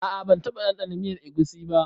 A'a ban taba dandana miyar egusi ba.